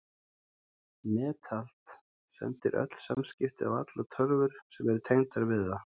Netald sendir öll samskipti á allar tölvur sem eru tengdar við það.